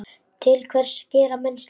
Til hvers gera menn slíkt?